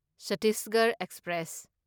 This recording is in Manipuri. ꯆꯠꯇꯤꯁꯒꯔꯍ ꯑꯦꯛꯁꯄ꯭ꯔꯦꯁ